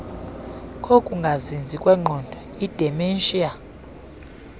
kokungazinzi kwengqondo idementia